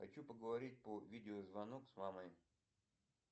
хочу поговорить по видеозвонок с мамой